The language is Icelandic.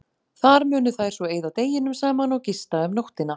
Þar munu þær svo eyða deginum saman og gista um nóttina.